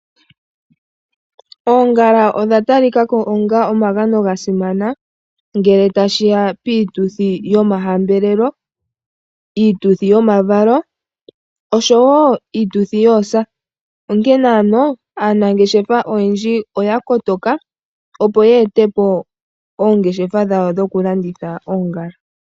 Oongala odha tali ka ko onga omagano ga simana ngele tashi ya piituthi yomahambelelo, iituthi yomavalo osho wo iituthi yoosa. Onkene ano aanangeshefa oyendji oya kotoka opo ya e te po oongeshefa dhawo dho ku landitha oongala.